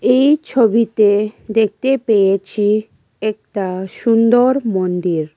এই ছবিতে দেখতে পেয়েছি একতা সুন্দর মন্দির।